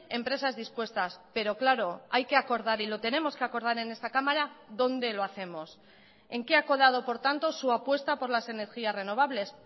empresas dispuestas pero claro hay que acordar y lo tenemos que acordar en esta cámara dónde lo hacemos en qué ha quedado por tanto su apuesta por las energías renovables